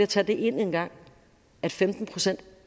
tage det ind en gang at femten procent